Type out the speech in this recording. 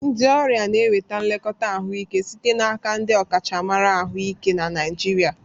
Ndị ọrịa na-enweta nlekọta ahụike site n'aka ndị ọkachamara ahụike na Naijiria.